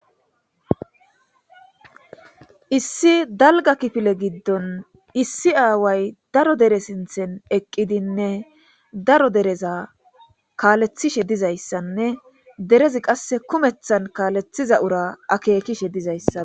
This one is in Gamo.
issi dalga kifile giddon issi aaway daro dere sinthen eqqidinne daro dereza kaalethishe dizayssanne derezi qasse kumethan kaalethiza ura akeekishe dizayssa